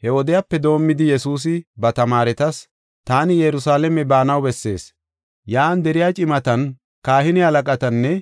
He wodiyape doomidi Yesuusi ba tamaaretas, “Taani Yerusalaame baanaw bessees. Yan deriya cimatan, kahine halaqatanne